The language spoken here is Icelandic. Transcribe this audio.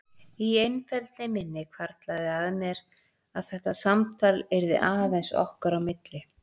Í einfeldni minni hvarflaði að mér að þetta samtal yrði aðeins okkar á milli.